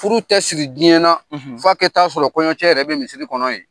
Furu tɛ siri diɲɛ na; Fa kɛ t'a sɔrɔ kɔɲɔncɛ yɛrɛ bɛ misiri kɔnɔ yen.